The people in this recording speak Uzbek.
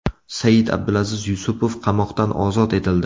Said-Abdulaziz Yusupov qamoqdan ozod etildi.